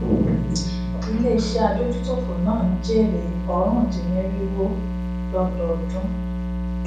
ilé iṣé adójútòfò náà n jèrè orundinniriwo lọdọọdún